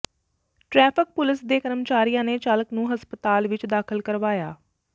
traffic police ਦੇ ਕਰਮਚਾਰੀਆਂ ਨੇ ਚਾਲਕ ਨੂੰ ਹਸਪਤਾਲ ਵਿੱਚ ਦਾਖ਼ਲ ਕਰਵਾਇਆ